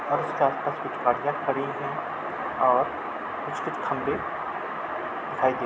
और उसके आसपास कुछ गाड़ियां खड़ी है और कुछ-कुछ खंभे दिखाई दे --